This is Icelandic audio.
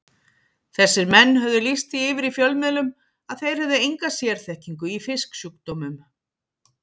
Þessir menn höfðu lýst því yfir í fjölmiðlum að þeir hefðu enga sérþekkingu í fisksjúkdómum.